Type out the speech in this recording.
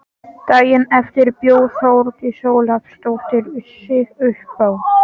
Daginn eftir bjó Þórdís Ólafsdóttir sig uppá.